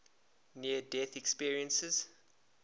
near death experiences